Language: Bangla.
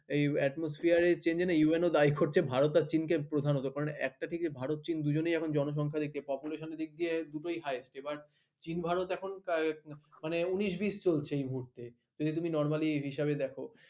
ভারত আর চীনকে প্রধানত কারণ । ভারত চীন দুজনি এখন জনসংখ্যার দিক থেকে population দিক দিয়ে দুটোই highest চীন ভারত এখন আহ মানে উনিশ বিশ চলছে এই মুহূর্তে । যদি তুমি নরমালি এই হিসেবে দেখো